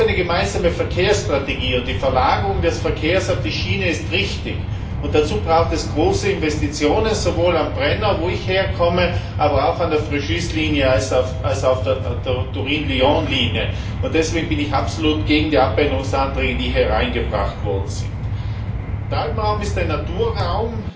Auch eine gemeinsame Verkehrsstrategie und die Verlagerung des Verkehrs auf die Schiene ist richtig, und dazu braucht es große Investitionen, sowohl am Brenner, wo ich herkomme, als auch an der Fréjus Linie und auf der Turin Lyon Linie, und deswegen bin ich absolut gegen die Änderungsanträge, die hier eingebracht worden sind. Der Alpenraum ist ein Naturraum